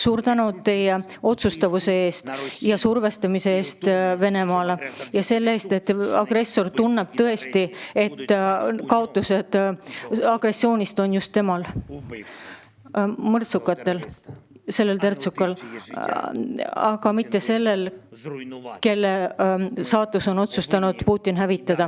Suur tänu teie otsustavuse eest Venemaa survestamisel, et agressor tõesti tunneks, et kõige suuremaid agressioonist tingitud kaotusi kannab just tema ise, see kurjategija, see mõrtsukas, see terrorist, mitte aga see, kelle elu Putin on otsustanud hävitada!